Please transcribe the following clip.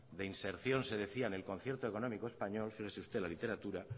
de inserción se decía en el concierto económico español fíjese usted en la literatura